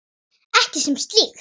Ekki sem slíkt.